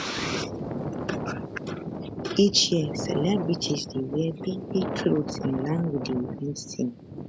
each year celebrities dey wear bigbig clothes in line wit di event theme